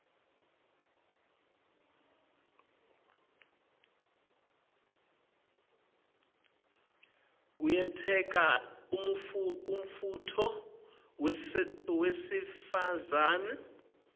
kuyenteka umuntfu wesifazane